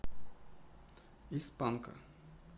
из панка